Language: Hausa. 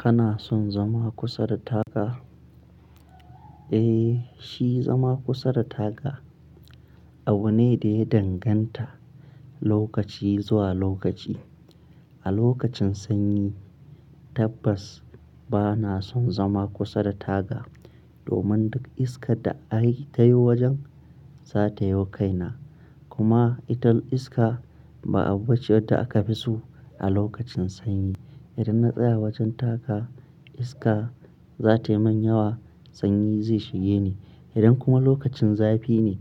Kana son zama kusa da taga? Eh, shi zama kusa da taga abu ne da ya danganta lokaci zuwa lokaci. A lokacin sanyi tabbas bana son zama kusa da taga, domin duka iskar da aka yi ta yo wajen, za ta yo kaina. Kuma ita iska ba abu ce da aka fi so a lokacin sanyi. Idan na tsaya wajen taga iska za ta yi min yawa sanyi zai shige ni. Idan kuma lokacin zafi ne,